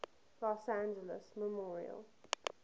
los angeles memorial